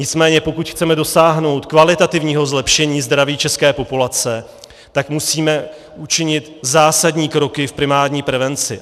Nicméně pokud chceme dosáhnout kvalitativního zlepšení zdraví české populace, tak musíme učinit zásadní kroky v primární prevenci.